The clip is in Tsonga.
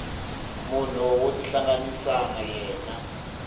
munhu wo tihlanganisa na yena